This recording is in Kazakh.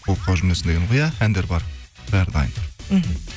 болып қалып жүрмесін дегенім ғой иә әндер бар бәрі дайын мхм